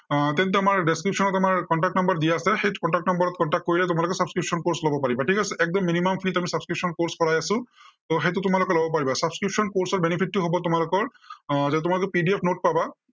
এৰ তেন্তে আমাৰ description ত আমাৰ contact number দিয়া আছে, সেই contact number ত contact কৰিলে তোমালোকে subscription course লব পাৰিবা, ঠিক আছে। একদম minimum fee ত আমি subscription course কৰাই আছো। ত' সেইটো তোমালোকে লব পাৰিবা। subscription course ৰ benefit টো হব তোমালোকৰ আহ তোমালোকে PDF note পাবা।